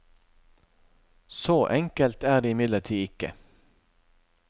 Så enkelt er det imidlertid ikke.